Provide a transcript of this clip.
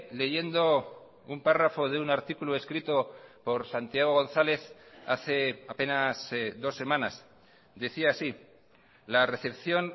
leyendo un párrafo de un artículo escrito por santiago gonzález hace apenas dos semanas decía así la recepción